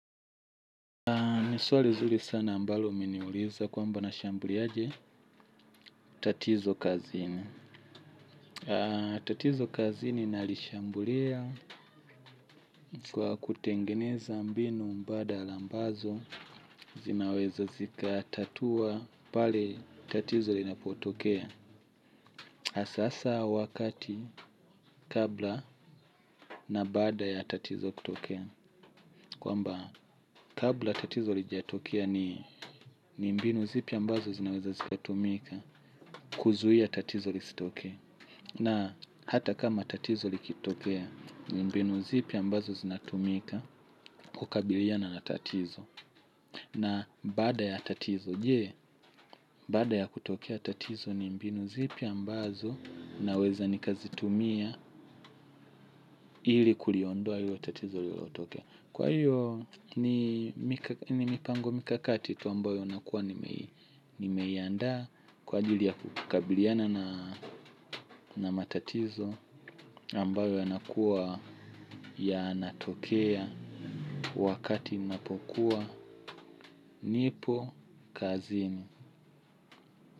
Ni swali zuri sana ambalo umeniuliza kwamba nashambuliaje tatizo kazini. Tatizo kazini nalishambulia kwa kutengeneza mbinu mbadala ambazo zinaweza zikatatua pale tatizo linapotokea. Asasa wakati kabla na baada ya tatizo kutokea. Kwamba kabla tatizo lijatokia ni mbinu zipi ambazo zinaweza zikatumika kuzuia tatizo listoke. Na hata kama tatizo likitokea ni mbinu zipi ambazo zinatumika kukabiliana na tatizo. Na baada ya tatizo, je baada ya kutokea tatizo ni mbinu zipi ambazo naweza nikazitumia ili kuliondoa ilo tatizo liliotokea. Kwa hiyo ni mipango mikakati tu ambayo nakuwa nimeiandaa kwa ajili ya kukabiliana na matatizo ambayo yanakuwa yanatokea wakati ninapokuwa nipo kazini.